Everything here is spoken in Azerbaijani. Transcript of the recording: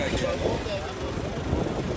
10 dəqiqə çıxarmır, 10 dəqiqə.